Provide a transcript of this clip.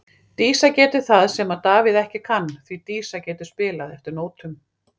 Dísa getur það sem að Davíð ekki kann, því Dísa getur spilað eftir nótum.